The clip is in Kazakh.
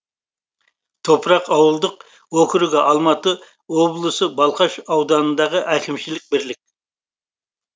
топырақ ауылдық округі алматы облысы балқаш ауданындағы әкімшілік бірлік